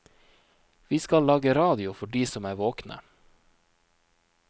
Vi skal lage radio for de som er våkne.